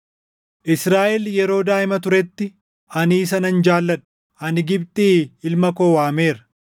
“Israaʼel yeroo daaʼima turetti, ani isa nan jaalladhe; ani Gibxii ilma koo waameera.